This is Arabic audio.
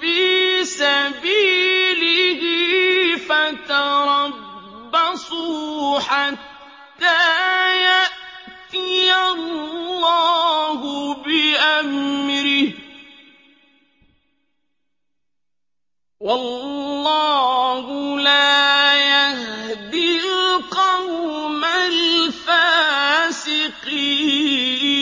فِي سَبِيلِهِ فَتَرَبَّصُوا حَتَّىٰ يَأْتِيَ اللَّهُ بِأَمْرِهِ ۗ وَاللَّهُ لَا يَهْدِي الْقَوْمَ الْفَاسِقِينَ